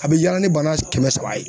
A bɛ yaala ni bana kɛmɛ saba ye.